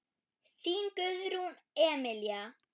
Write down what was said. Þín Guðrún Emilía.